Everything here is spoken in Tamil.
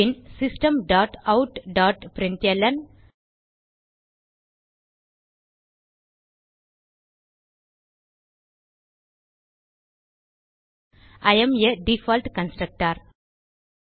bin system dot out dot println I am a default constructor